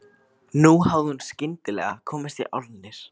Nú hafði hún skyndilega komist í álnir.